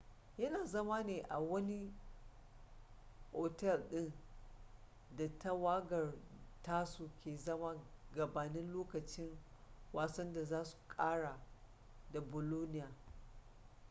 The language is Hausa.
yana zama ne a wani otel din da tawagar tasu ke zama gabanin lokacin wasan da za su kara da bolonia